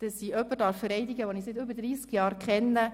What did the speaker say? Ich darf jemanden vereidigen, den ich seit über 30 Jahren kenne.